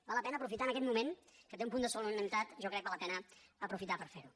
val la pena aprofitant aquest moment que té un punt de solemnitat jo crec que val la pena aprofitar per fer ho